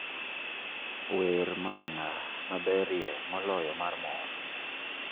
wer mamana maberie moloyo mar mor